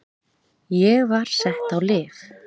Ég var sett á lyf.